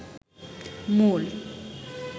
মূল